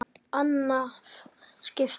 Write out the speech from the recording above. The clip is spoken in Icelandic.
Annað skipti minna máli.